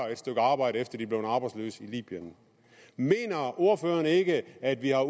arbejde efter er blevet arbejdsløse i libyen mener ordføreren ikke at vi har